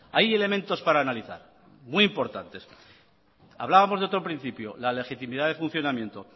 hay elementos para analizar muy importantes hablábamos de otro principio la legitimidad de funcionamiento